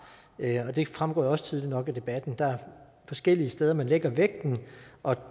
og det fremgår jo også tydeligt nok af debatten der er forskellige steder man lægger vægten og